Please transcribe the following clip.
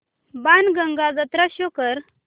बाणगंगा जत्रा शो कर